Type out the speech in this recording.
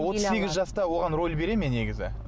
отыз сегіз жаста оған роль бере ме негізі